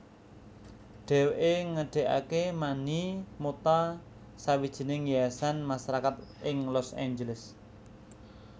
Dheweke ngedegake Manny Mota sawijining yayasan masarakat ing Los Angeles